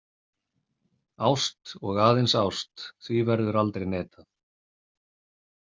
Ást og aðeins ást, því verður aldrei neitað.